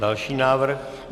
Další návrh.